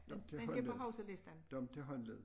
Dem til håndled dem til håndled